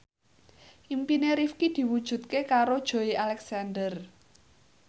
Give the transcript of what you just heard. impine Rifqi diwujudke karo Joey Alexander